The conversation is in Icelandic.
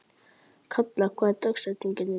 Kalla, hver er dagsetningin í dag?